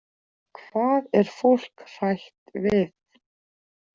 Hvað er fólk hrætt við?